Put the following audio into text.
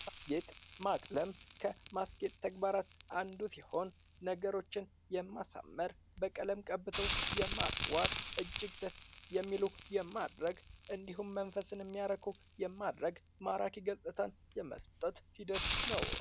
ማስጌጥ ማቅለም ከማስጌጥ ተግባራት አንዱ ሲሆን፤ ነገሮችን የማሳመር በቀለም ቀበቶ የማስዋብ እጅግ ደስ የሚሉ የማድረግ እንዲሁም መንፈስን የሚያረካ የማድረግ ማራኪ ገጽታ የመስጠት ሂደት ነው።